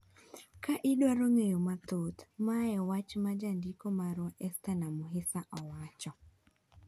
Ka idwaro ng'eyo mathoth, mae e wach ma jandiko marwa Ester Namuhisa owacho.